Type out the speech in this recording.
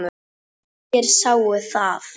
Allir sáu það.